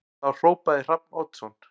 Þá hrópaði Hrafn Oddsson